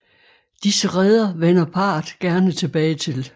Disse reder vender parret gerne tilbage til